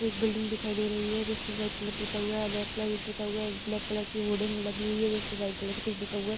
एक बिल्डिंग दिखाई दे रही है जिसमे वाइट कलर पूता हुआ है रेड कलर भी पूता हुआ है एक ब्लेक कलर की होल्डिंग लगी हुई है जिसेम व्हाइट कलर से कुछ लिखा हुआ है ।